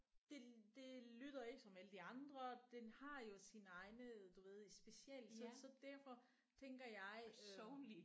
Det det lyder ikke som alle de andre den har jo sin egne du ved special så derfor tænker jeg øh